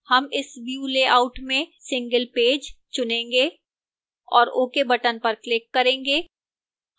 इस हम view layout में single page चुनेंगे और ok button पर click करेंगे